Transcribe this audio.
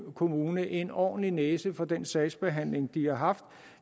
kommune en ordentlig næse for den sagsbehandling de har haft